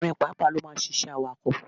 Ọkùnrin pàápàá ló ma ń ṣiṣẹ́ awakọ̀.